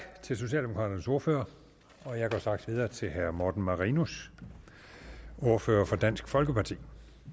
til socialdemokraternes ordfører jeg går straks videre til herre morten marinus ordfører for dansk folkeparti